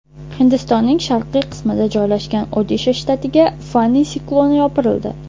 Hindistonning sharqiy qismida joylashgan Odisha shtatiga Fani sikloni yopirildi.